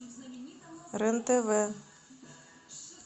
рен тв